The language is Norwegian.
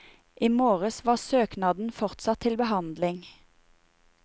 I morges var søknadene fortsatt til behandling.